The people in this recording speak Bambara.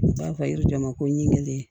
N b'a fɔ yiri jama ko n kelen